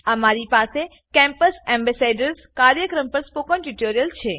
અમારી પાસે campus ambassador કાર્યક્રમ પર સ્પોકન ટ્યુટોરીયલ છે